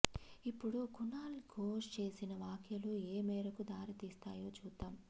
ఇప్పుడు కునాల్ ఘోష్ చేసిన వ్యాఖ్యలు ఏ మేరకు దారితీస్తాయో చూద్దాం